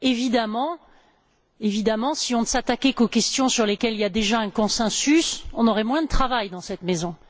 Évidemment, si on ne s'attaquait qu'aux questions sur lesquelles il y a déjà un consensus, on aurait moins de travail dans cette maison.